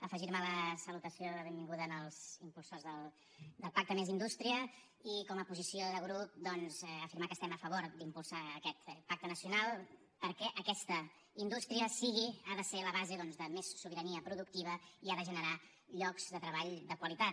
afegirme a la salutació de benvinguda als impulsors del pacte més indústria i com a posició de grup doncs afirmar que estem a favor d’impulsar aquest pacte nacional perquè aquesta indústria sigui ha de ser la base doncs de més sobirania productiva i ha de generar llocs de treball de qualitat